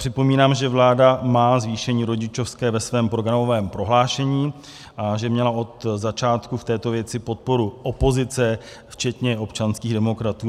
Připomínám, že vláda má zvýšení rodičovské ve svém programovém prohlášení a že měla od začátku v této věci podporu opozice, včetně občanských demokratů.